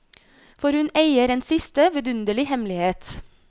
For hun eier en siste, vidunderlig hemmelighet.